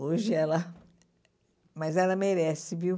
Hoje ela... Mas ela merece, viu?